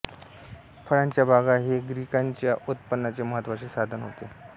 फळांच्या बागा हे ग्रीकांच्या उत्पनाचे महत्त्वाचे साधन होते